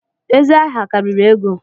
Ezi aha karịrị ego